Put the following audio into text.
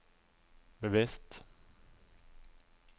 bevisst